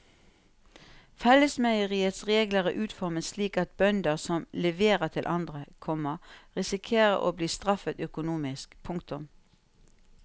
Fellesmeieriets regler er utformet slik at bønder som leverer til andre, komma risikerer å bli straffet økonomisk. punktum